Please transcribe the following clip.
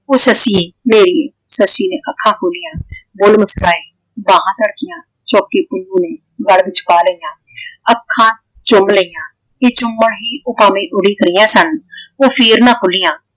ਉਹ ਸੱਸੀਏ ਮੇਰੀਏ ਸੱਸੀ ਨੇ ਅੱਖਾਂ ਖੋਲੀਆਂ। ਬੁੱਲ ਮੁਸਕੁਰਾਏ ਬਾਹਾਂ ਧੜਕੀਆਂ। ਚੁੱਕ ਕੇ ਪੁੰਨੂੰ ਨੂੰ ਗਲ ਵਿੱਚ ਪਾ ਲਈਆਂ। ਅੱਖਾਂ ਚੁੰਮ ਲਈਆਂ ਤੇ ਚੁੰਮਣ ਹੀ ਉਹ ਭਾਵੇਂ ਉਡੀਕ ਰਹੀਆਂ ਸਨ ਉਹ ਫੇਰ ਨਾ ਖੁੱਲੀਆਂ।